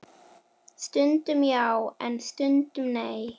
Stundum já, en stundum ekki.